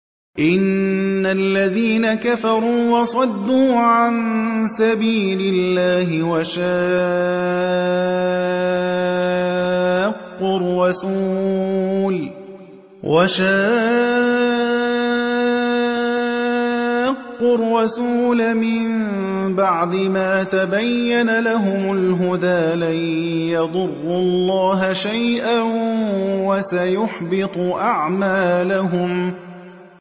إِنَّ الَّذِينَ كَفَرُوا وَصَدُّوا عَن سَبِيلِ اللَّهِ وَشَاقُّوا الرَّسُولَ مِن بَعْدِ مَا تَبَيَّنَ لَهُمُ الْهُدَىٰ لَن يَضُرُّوا اللَّهَ شَيْئًا وَسَيُحْبِطُ أَعْمَالَهُمْ